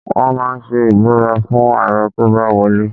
Wọ́n máa ń ṣe ìbúra fún Ààrẹ tó bá wọ lé.